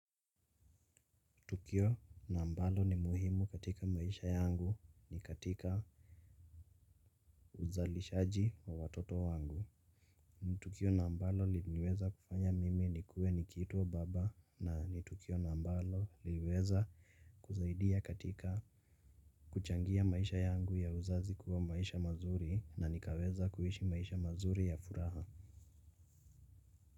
Ni tukio na ambalo ni muhimu katika maisha yangu ni katika uzalishaji wa watoto wangu. Ni tukio na ambalo liliweza kufanya mimi nikue nikiitwa baba na ni tukio na ambalo liliweza kusaidia katika kuchangia maisha yangu ya uzazi kuwa maisha mazuri na nikaweza kuishi maisha mazuri ya furaha.